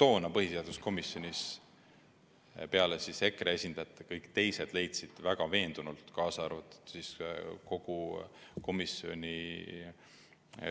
Toona leidsid põhiseaduskomisjonis peale EKRE esindajate kõik teised, kaasa arvatud kõik komisjoni